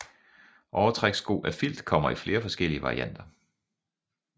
Overtrækssko af filt kommer i flere forskellige varianter